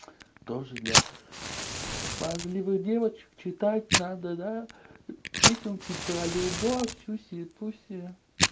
тоже для смазливых девочек читать надо песенки про любовь сюси пуси